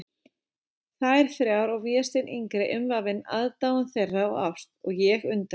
Þær þrjár og Vésteinn yngri umvafinn aðdáun þeirra og ást, og ég undrast.